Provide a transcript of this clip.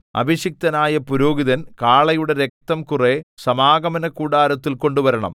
അഭിഷിക്തനായ പുരോഹിതൻ കാളയുടെ രക്തം കുറെ സമാഗമനകൂടാരത്തിൽ കൊണ്ടുവരണം